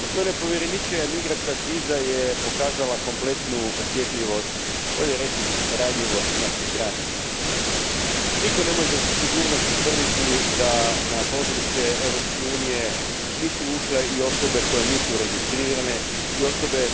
Gospodine predsjedniče, gospodine povjereniče migrantska kriza je pokazala kompletnu osjetljivost, bolje rečeno, ranjivost naših granica. Nitko ne može sa sigurnošću tvrditi da na područje Europske unije nisu ušle i osobe koje nisu registrirane i osobe